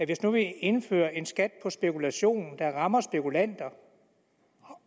hvis nu vi indfører en skat på spekulation der rammer spekulanter